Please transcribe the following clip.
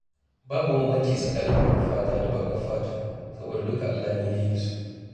Babu bambanci tsakanin farar fata da bakar fata saboda duka Allah ne ya yi su.